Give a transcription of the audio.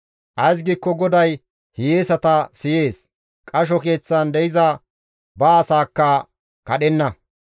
Ays giikko GODAY hiyeesata siyees; qasho keeththan de7iza ba asaakka kadhenna.